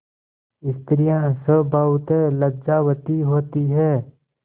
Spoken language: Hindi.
स्त्रियॉँ स्वभावतः लज्जावती होती हैं